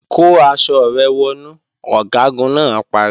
Kó aṣọ rẹ wọnú! Ọ̀gágun náà pariwo